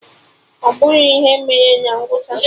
Ọ bụrọ ihe mere na ngwụcha!